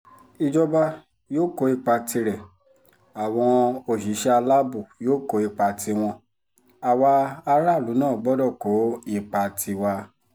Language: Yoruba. ìjọba yóò kó ipa tirẹ̀ àwọn òṣìṣẹ́ aláàbò yóò kó ipa tiwọn àwa aráàlú náà gbọ́dọ̀ kó ipa tiwa